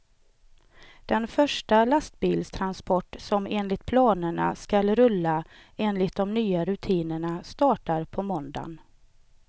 Den första lastbilstransport som enligt planerna skall rulla enligt de nya rutinerna startar på måndagen.